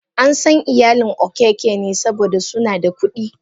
Ansan iyalin okeke ne saboda suna da kudi.